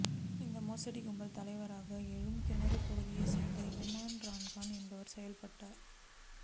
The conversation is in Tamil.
இந்த மோசடி கும்பல் தலைவனாக ஏழுகிணறு பகுதியை சேர்ந்த இம்ரான்கான் என்பவர் செயல்பட்டார்